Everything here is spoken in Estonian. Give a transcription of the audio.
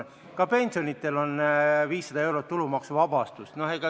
Ka pensionäridel on 500 eurot tulumaksuvabastust.